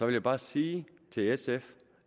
vil bare sige til sf